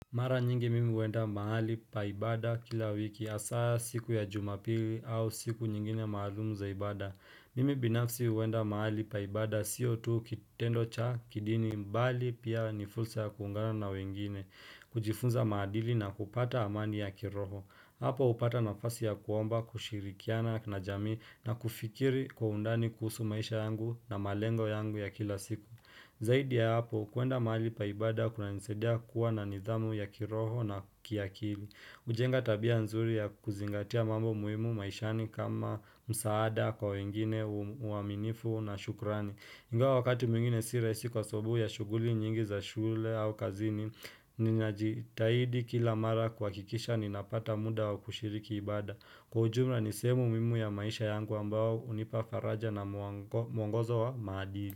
Mara nyingi mimi uenda mahali pa ibada kila wiki hasaa siku ya jumapili au siku nyingine maalumu za ibada. Mimi binafsi uenda mahali pa ibada siyo tu kitendo cha kidini mbali pia ni fursa ya kuungana na wengine. Kujifunza maadili na kupata amani ya kiroho. Hapo upata nafasi ya kuomba, kushirikiana na jamii na kufikiri kwa undani kuhusu maisha yangu na malengo yangu ya kila siku. Zaidi ya hapo kuenda mahali pa ibada kunanisaidia kuwa na nidhamu ya kiroho na kiakili ujenga tabia nzuri ya kuzingatia mambo muhimu maishani kama msaada kwa wengine uaminifu na shukrani ingawa wakati mwingine si rahisi kwa sababu ya shuguli nyingi za shule au kazini Ninajitahidi kila mara kuhakikisha ninapata muda wa kushiriki ibada Kwa ujumla ni sehemu muhimu ya maisha yangu ambao unipa faraja na muongozo wa madili.